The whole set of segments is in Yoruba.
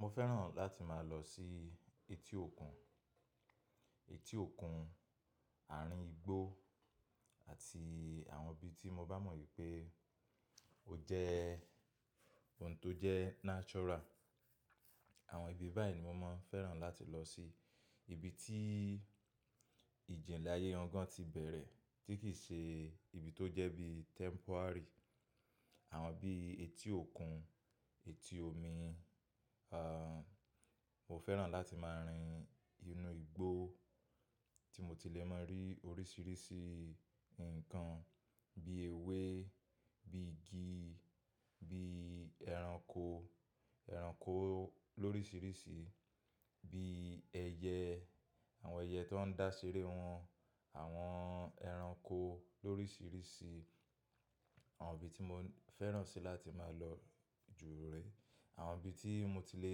Mo fẹ́ràn láti máa lọ sí etí òkun, etí òkun, àárín igbó àti àwọn ibi tí mo bá mọ̀ wípé ó jẹ́ ohun tó jẹ́ natural. Àwọn ibi báyìí ni mo máa ń fẹ́ràn láti lọ sí. Ibi tí ìjìnlẹ̀ ayé gan gan ti bẹ̀rẹ̀ tí kì í ṣe ibi tó jẹ́ bí temporary. Àwọn bí etí òkun, etí omi, mo fẹ́ràn láti máa rin inú igbó tí mo ti lè máa rí oríṣìíríṣìí nǹkan bí ewé, bí igi, bí ẹranko, ẹranko lóríṣìíríṣìí, bí ẹyẹ, àwọn ẹyẹ tó ń dá seré wọn, àwọn ẹranko lóríṣìíríṣìí. Àwọn ibi tí mo fẹ́ràn sì láti máa lọ jù rè. Àwọn ibi tí mo ti lè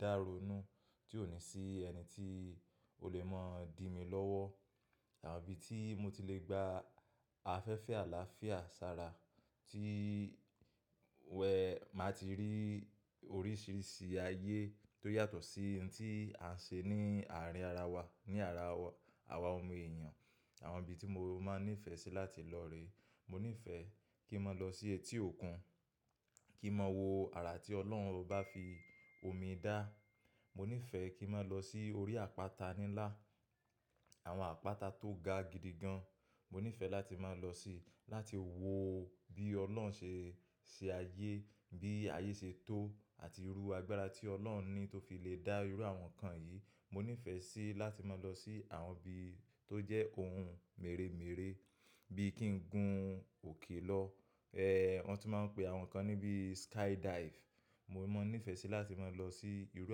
dáronu tí ò ní sí ẹni tí ó lè máa di mí lọ́wọ́. Àwọn ibi tí mo ti lè gba afẹ́fẹ́ àlàáfíà, sára tí wẹ̀ màá ti rí oríṣìíríṣìí ayé tó yàtọ̀ sí ohun tí à ń ṣe ní àárín ara wa, ní ara àwa ọmọ èèyàn. Àwọn ibi tí mo máa ń nífẹ̀ẹ́sì láti lọ rè. Mo nífẹ̀ẹ́ kí n máa lọ sí etí òkun, kí n máa wo àrà tí Ọlọ́run bá fi omi dá. Mo nífẹ̀ẹ́ kí n máa lọ sí orí àpáta níńlá, àwọn àpáta tó ga gidi gan. Mo nífẹ̀ẹ́ láti máa lọ sí, láti wo bí Ọlọ́run ṣe, ṣe ayé, bí ayé ṣe tó àti irú agbára tí Ọlọ́run ní tó fi lè dá irú àwọn nǹkan yìí. Mo nífẹ̀ẹ́ sì láti máa lọ sí àwọn ibi tó jẹ́ ohun mèremère bí i kí n gun òkè lọ. Wọ́n tún máa ń pe àwọn nǹkan ní bí skydive. Mo máa ń nífẹ̀ẹ́ sì láti máa lọ sí irú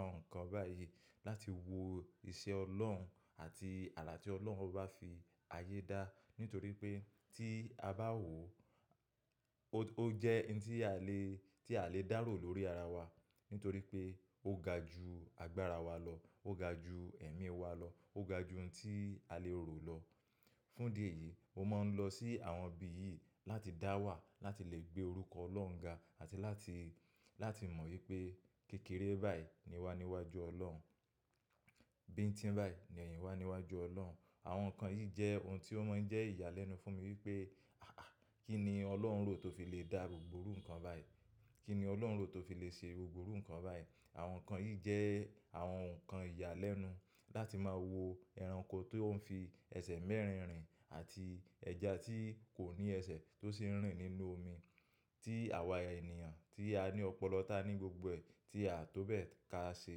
àwọn nǹkan báyìí láti wo iṣẹ́ Ọlọ́run àti àrà tí Ọlọ́run bá fi ayé dá. Nítorí pé tí a bá wò ó, ó jẹ́ ohun tí a lè, tí a lè dárò lórí ara wa. Nítorí pé ó ga ju agbára wa lọ, ó ga ju ẹ̀mí wa lọ, ó ga ju ohun tí a lè rò lọ. Fún di èyí, mo máa ń lọ sí àwọn ibi yìí láti dá wà, láti lè gbé orúkọ Ọlọ́run ga àti láti, láti mọ̀ wípé kékeré báyìí ni wá níwájú Ọlọ́run. Bíi tí ń báyi ni wa ni wá níwájú Ọlọ́run. Àwọn nǹkan yìí jẹ́ ohun tí ó máa ń jẹ́ ìyàlẹ́nu fún mi wípé, àáà, kí ni Ọlọ́run rò tó fi lè dá gbòòrù nǹkan báyìí? Kí ni Ọlọ́run rò tó fi lè ṣe gbogbo iru nǹkan báyìí? Àwọn nǹkan yìí jẹ́ àwọn nǹkan ìyàlẹ́nu. Láti máa wo ẹranko tó ń fi ẹsẹ̀ mẹ́rin rìn àti ẹja tí kò ní ẹsẹ̀ tó sì ń rìn nínú omi tí àwa ènìyàn tí a ní ọpọlọ tá ní gbogbo ẹ̀, tí a tó bẹ́ẹ̀ ka ṣe.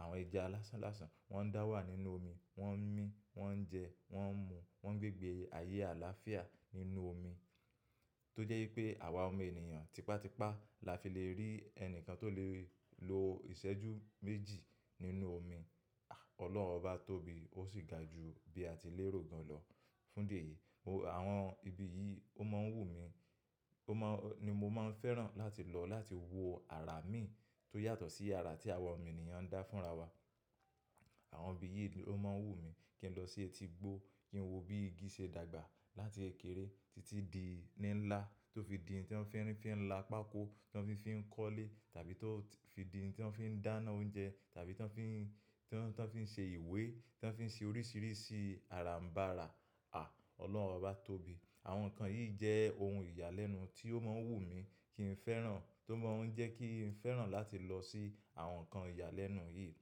Àwọn ẹja lásán lásán, wọ́n ń dá wà nínú omi, wọ́n ń mí, wọ́n ń jẹ, wọ́n ń mu, wọ́n ń gbégbè ayé àlàáfíà nínú omi. Tó jẹ́ wípé àwa ọmọ ènìyàn tipátipá la fi lè rí ẹni kan tó lè lo ìṣẹ́jú méjì nínú omi. Ọlọ́run bá tóbi, ó sì ga ju bí a ti lè rò gan lọ. Fún di èyí, mo àwọn ibi yìí, ó máa ń wù mí, ó máa ni mo máa ń fẹ́ràn láti lọ láti wo àrà mí tó yàtọ̀ sí àrà tí àwa ọmọ ènìyàn ń dá fún ra wa. Àwọn ibi yìí ló máa ń wù mí kí n lọ sí etí igbó, kí n wo bí igi ṣe dàgbà láti kẹkèrè títí di lińlá tó fi di ohun tí wọ́n fi ń, fi ń la pákó, tí wọ́n fi ń, fi ń kọ́lé tàbí tó fi di ohun tí wọ́n fi ń dáná oúnjẹ tàbí tí wọ́n fi ń, tí wọ́n, tí wọ́n fi ń ṣe ìwé, tí wọ́n fi ń ṣe oríṣìíríṣìí àràmbàrà. À! Ọlọ́run bá tóbi. Àwọn nǹkan yìí jẹ́ ohun ìyàlẹ́nu tí ó máa ń wù mí kí n fẹ́ràn, tó máa ń jẹ́ kí n fẹ́ràn láti lọ sí àwọn nǹkan ìyàlẹ́nu yìí.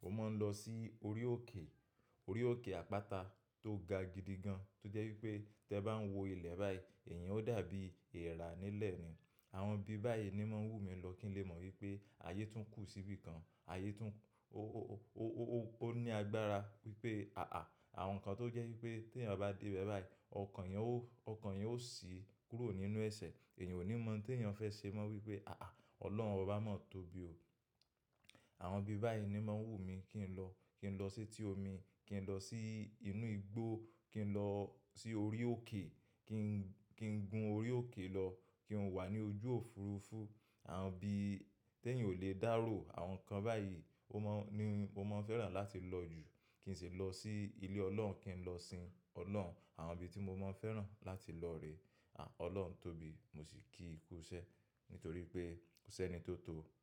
Mo máa ń lọ sí orí òkè, orí òkè àpáta tó ga gidi gan. Tó jẹ́ wípé tí ẹ bá ń wo ilẹ̀ báyìí, ẹ̀yin ó dàbí èèrà nílẹ̀ ni. Àwọn ibi báyìí ni máa ń wù mí lọ kí n lè mọ̀ wípé ayé tún kù sí bíi kan. Ayé tún ó, ó, ó, ó, ó ní agbára wípé àáà, àwọn nǹkan tó jẹ́ wípé tí èèyàn bá dé bẹ̀ báyìí, ọkàn ẹ́ yóò, ọkàn ẹ́ yóò sì kúrò nínú ẹsẹ̀. Ẹ̀yìn ò ní mọ ohun tí ẹ̀yàn fẹ́ ṣe mọ wípé àáà, Ọlọ́run obá máa tóbi o. Àwọn ibi báyìí ni máa ń wù mí kí n lọ. Kí n lọ sí etí omi, kí n lọ sí inú igbó, kí n lọ sí orí òkè, kí n, kí n gun orí òkè lọ, kí n wà ní ojú òfurufú. Àwọn ibi tí ẹ̀yan ò lè dárò, àwọn nǹkan báyìí ó máa ń, ni mo máa ń fẹ́ràn láti lọ jù. Kí n sì lọ sí ilé Ọlọ́run, kí n lọ sin Ọlọ́run. Àwọn ibi tí mo máa ń fẹ́ràn láti lọ rè. À! Ọlọ́run tóbi, mo sì kí í kú iṣẹ́. Nítorí pé kò sẹ́ni tó tó o.